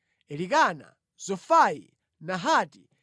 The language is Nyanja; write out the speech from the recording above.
Elikana, Zofai, Nahati,